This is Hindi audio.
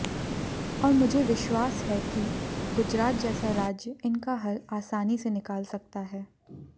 और मुझे विश्वास है कि गुजरात जैसा राज्य इनका हल आसानी से निकाल सकता है